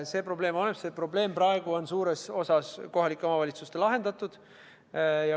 See probleem on olemas ja see probleem on praegu suures osas kohalike omavalitsuste lahendada.